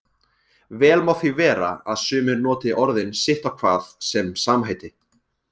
Vel má því vera að sumir noti orðin sitt á hvað sem samheiti.